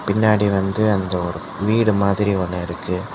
பின்னாடி வந்து அந்த வீடு மாதிரி ஒன்னு இருக்கு.